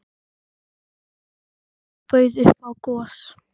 Tóti hló og bauð upp á gos.